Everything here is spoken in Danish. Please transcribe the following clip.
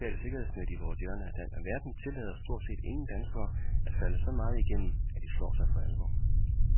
Det finmaskede sociale sikkerhedsnet i vores hjørne af verden tillader stort set ingen danskere at falde så meget igennem, at de slår sig for alvor.